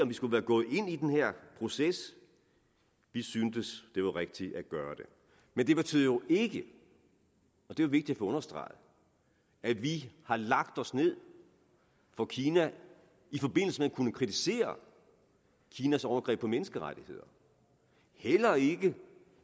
vi skulle være gået ind i den her proces vi syntes det var rigtigt at gøre det men det betyder jo ikke og det er vigtigt understreget at vi har lagt os ned for kina i forbindelse med at kunne kritisere kinas overgreb på menneskerettigheder heller ikke